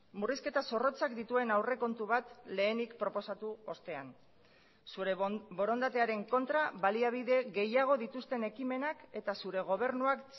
murrizketa zorrotzak dituen aurrekontu bat lehenik proposatu ostean zure borondatearen kontra baliabide gehiago dituzten ekimenak eta zure gobernuak